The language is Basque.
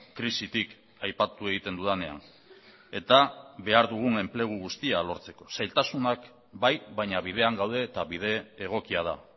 krisitik aipatu egiten dudanean eta behar dugun enplegu guztia lortzeko zailtasunak bai baina bidean gaude eta bide egokia da